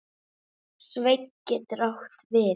Sveinn getur átt við